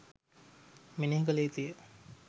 මෙනෙහි කළ යුතුය.